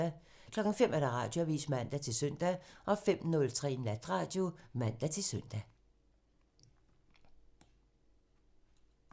05:00: Radioavisen (man-søn) 05:03: Natradio (man-søn)